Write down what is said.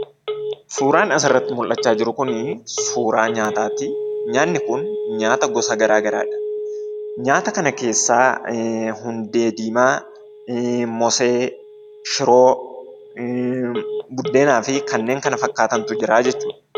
Suuraan asirratti argaa jirru kun suuraa nyaataati. Nyaanni kun nyaata gosa garaa garaadha. Nyaata kana keessaa hundee diimaa, mosee, shiroo, buddeenaa fi kanneen kana fakkaatantu jiraa jechuudha.